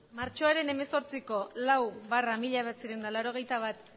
martxoaren hemezortziko lau barra mila bederatziehun eta laurogeita bat